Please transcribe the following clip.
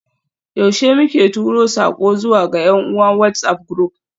Yaushe muke tura sako zuwa ga yan uwa WhatsAf group?